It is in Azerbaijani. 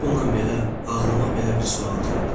Bununla belə ağlıma belə bir sual gəldi.